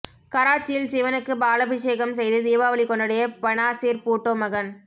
கராச்சியில் சிவனுக்கு பாலபிஷேகம் செய்து தீபாவளி கொண்டாடிய பெனாசிர் பூட்டோ மகன்